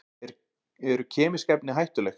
Eru kemísk efni hættuleg?